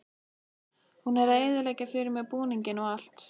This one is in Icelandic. Hún er að eyðileggja fyrir mér búninginn og allt.